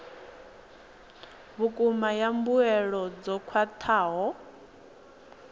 vhukuma ya mbuelo dzo khwathaho